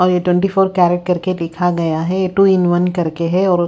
और ये twenty four carat करके लिखा गया है टू इन वन करके है और--